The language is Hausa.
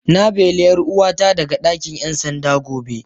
Na beli 'yar uwata daga dakin 'yan sanda gobe.